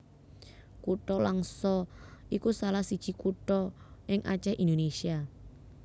Kutha Langsa iku salah siji kutha ing Acèh Indonésia